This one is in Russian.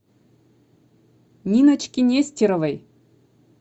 ниночке нестеровой